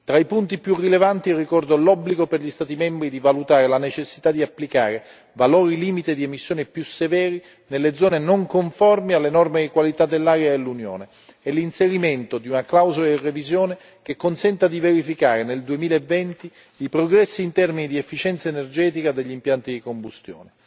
Tra i punti più rilevanti ricordo l'obbligo per gli Stati membri di valutare la necessità di applicare valori limite di emissione più severi nelle zone non conformi alle norme di qualità dell'aria dell'Unione e l'inserimento di una clausola di revisione che consenta di verificare nel 2020 i progressi in termini di efficienza energetica degli impianti di combustione.